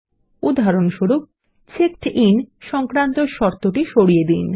উদাহরণস্বরূপ checked in সংক্রান্ত শর্ত টি সরিয়ে দিন